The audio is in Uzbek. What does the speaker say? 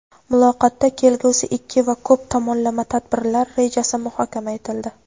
Muloqotda kelgusi ikki va ko‘p tomonlama tadbirlar rejasi muhokama etildi.